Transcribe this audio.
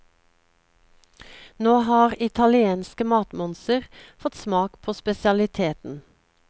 Nå har italienske matmonser fått smak på spesialiteten.